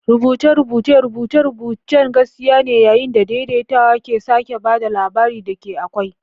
Rubuce-rubucen rubuce-rubucen gaskiya ne, yayin da daidaitawa ke sake ba da labarin da ke akwai.